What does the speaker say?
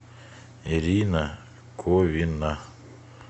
ирина ковина